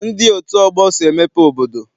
Ndị otu ọgbọ so emepe obodo.